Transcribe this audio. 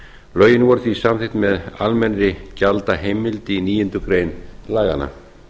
lögin voru því samþykkt með almennri gjaldaheimild í níundu grein laganna